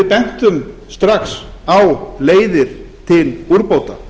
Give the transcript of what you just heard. við bentum strax á leiðir til úrbóta